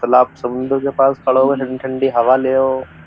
चल आप समुंदर के पास खड़े हो ठंडी ठंडी हवा ले हो।